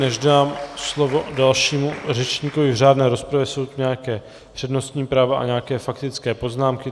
Než dám slovo dalšímu řečníkovi v řádné rozpravě, jsou tu nějaká přednostní práva a nějaké faktické poznámky.